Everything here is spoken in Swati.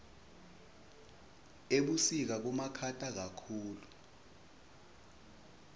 ebusika kubamakhata kakhulu